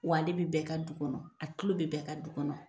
Wa ale bɛ bɛɛ ka du kɔnɔ , a tulo bɛ bɛɛ ka du kɔnɔ .